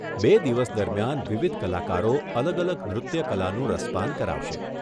બે દિવસ દરમિયાન વિવિધ કલાકારો અલગ અલગ નૃત્ય કલાનું રસપાન કરાવશે.